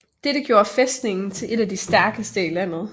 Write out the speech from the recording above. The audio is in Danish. Detta gjorde fæstningen til en af de stærkeste i landet